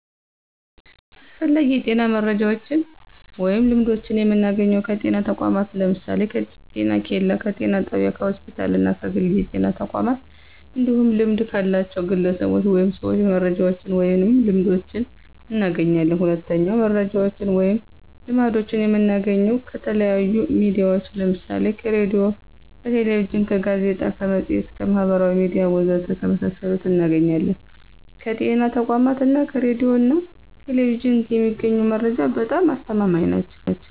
አስፈላጊ የጤና መረጃዎችን ወይም ልምዶችን የምናገኘው ከጤና ተቋማት ለምሳሌ፦ ከጤኬላ፣ ከጤና ጣቢያ፣ ከሆስፒታል እና ከግል የጤና ተቋማት እንዲሁም ልምድ ካላቸው ግለሰቦች ወይም ሰዎች መረጃዎችን ወይንም ልምዶችን እናገኛለን። ሁለተኛው መረጃዎችን ወይም ልምዶችን የምናገኘው ከተለያዩ ሚዲያዎች ለምሳሌ ከሬዲዮ፣ ከቴሌቪዥን፣ ከጋዜጣ፣ ከመፅሔት፣ ከማህበራዊ ሚዲያ ወዘተ ከመሳሰሉት እናገኛለን። ከጤና ተቋማት እና ከሬዲዮ ና ቴሌቪዥን የሚገኙ መረጃዎች በጣም አስተማማኝ ናቸው።